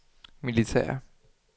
militære